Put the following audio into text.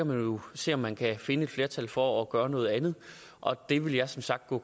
man jo se om man kan finde et flertal for at gøre noget andet det vil jeg som sagt gå